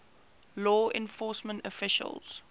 law enforcement officials